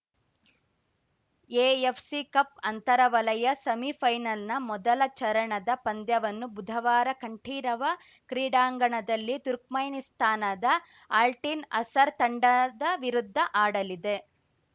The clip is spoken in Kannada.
ಎಎಫ್‌ಸಿ ಕಪ್‌ ಅಂತರ ವಲಯ ಸೆಮಿಫೈನಲ್‌ನ ಮೊದಲ ಚರಣದ ಪಂದ್ಯವನ್ನು ಬುಧವಾರ ಕಂಠೀರವ ಕ್ರೀಡಾಂಗಣದಲ್ಲಿ ತುರ್ಕ್ಮೆನಿಸ್ತಾನದ ಆಲ್ಟಿನ್‌ ಅಸರ್‌ ತಂಡದ ವಿರುದ್ಧ ಆಡಲಿದೆ